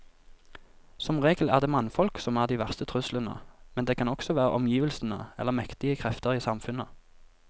Som regel er det mannfolk som er de verste truslene, men det kan også være omgivelsene eller mektige krefter i samfunnet.